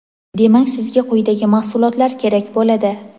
Demak sizga quyidagi mahsulotlar kerak bo‘ladi.